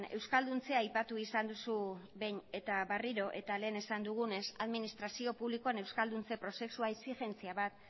euskalduntzea aipatu izan duzu behin eta berriro eta lehen esan dugunez administrazio publikoan euskalduntze prozesua exigentzia bat